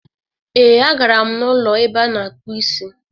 Ee, a gara m n'ụlọ ebe a na-akpụ isi.